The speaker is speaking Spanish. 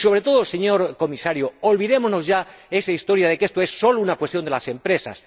Sobre todo, señor Comisario, olvidémonos ya de esa historia de que esto es sólo una cuestión de las empresas.